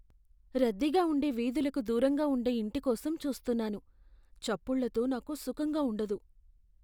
"రద్దీగా ఉండే వీధులకు దూరంగా ఉండే ఇంటి కోసం చూస్తున్నాను, చప్పుళ్ళతో నాకు సుఖంగా ఉండదు ."